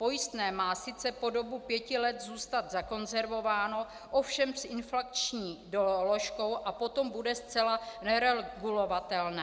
Pojistné má sice po dobu pěti let zůstat zakonzervováno, ovšem s inflační doložkou a potom bude zcela neregulovatelné.